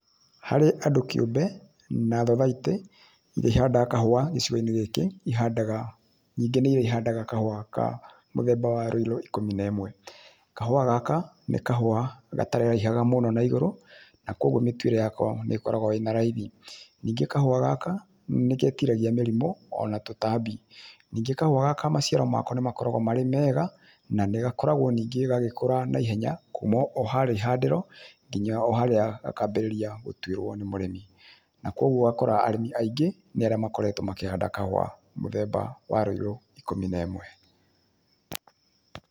Harĩ andũ kĩumbe na thothaitĩ iria ihandaga kahũa gĩcigoinĩ gĩkĩ nyingĩ nĩ iria ihandaga kahũa mũthemba wa rũirũ ikumi na imwe kahũa gaka nĩ kahũa gataraihaga mũno na igũrũ na koguo mĩtuĩre yako nĩkoragwo ĩrĩ na raithi. Ningĩ kahũa gaka nĩgetiragia mĩrimũ, ona tũtambi ,ningĩ kahũa gaka maciaro mako makoragwo me mega na nĩ gakoragwo gagĩkũra wega kuma oharia ihandĩro nginya o haria gakambĩrĩria gũtuĩrwo nĩ mũrĩmi, na koguo ũgakora arĩmi aingĩ nĩarĩa makoretwo makĩhanda kahũa mũthemba wa rũirũ ikumi na imwe.